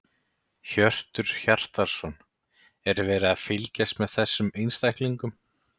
Hjörtur Hjartarson: Er verið að fylgjast með þessum einstaklingum?